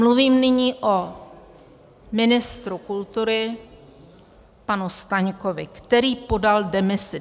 Mluvím nyní o ministru kultury panu Staňkovi, který podal demisi.